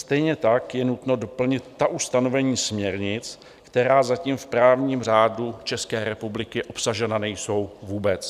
Stejně tak je nutno doplnit ta ustanovení směrnic, která zatím v právním řádu České republiky obsažena nejsou vůbec.